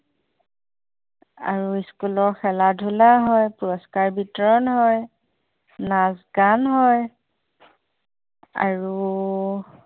আৰু school খেলা-ধূলাও হয় পুৰস্কাৰ বিতৰণ হয় নাচ-গান হয় আৰু